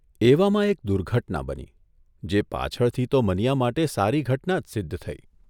એવામાં એક દુર્ઘટના બની જે પાછળથી તો મનીયા માટે સારી ઘટના જ સિદ્ધ થઈ